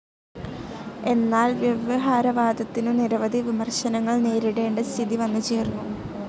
എന്നാൽ വ്യവഹാരവാദത്തിനു നിരവധി വിമർശനങ്ങൾ നേരിടേണ്ട സ്ഥിതി വന്നുചേർന്നു.